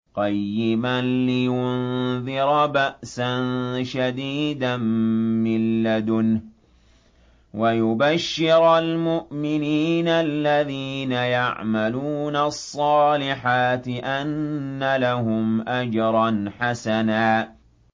قَيِّمًا لِّيُنذِرَ بَأْسًا شَدِيدًا مِّن لَّدُنْهُ وَيُبَشِّرَ الْمُؤْمِنِينَ الَّذِينَ يَعْمَلُونَ الصَّالِحَاتِ أَنَّ لَهُمْ أَجْرًا حَسَنًا